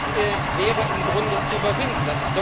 Das wäre im Grunde zu überwinden.